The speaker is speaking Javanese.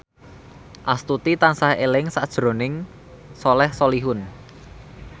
Astuti tansah eling sakjroning Soleh Solihun